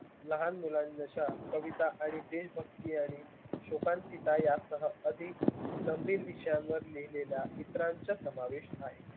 लहान मुलानुसार कविता आणि देशभक्ती आणि शोकांकिता यात अधिक गंभीर विषयांवर लिहिलेल्या समावेश आहे